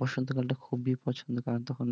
বসন্ত কাল খুবই পছন্দ কারণ তখন